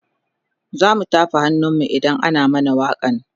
zamu tafa hannun mu idan ana mana wakan